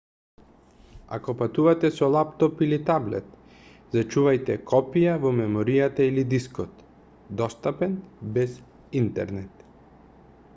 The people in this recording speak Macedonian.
ако патувате со лаптоп или таблет зачувајте копија во меморијата или дискот достапен без интернет